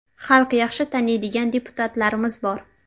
Xalq yaxshi taniydigan deputatlarimiz bor.